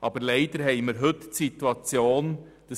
Aber leider hat heute CO keinen Preis.